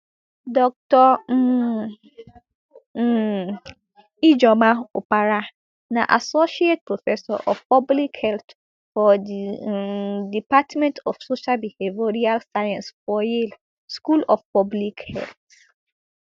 dr um um ijeoma opara na associate professor of public health for di um department of social behavioural sciences for yale school of public health